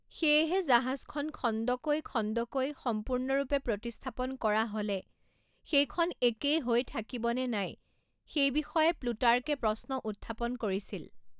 সেয়েহে জাহাজখন খণ্ডকৈ খণ্ডকৈ সম্পূৰ্ণৰূপে প্ৰতিস্থাপন কৰা হ'লে সেইখন একেই হৈ থাকিব নে নাই সেই বিষয়ে প্লুটাৰ্কে প্ৰশ্ন উত্থাপন কৰিছিল।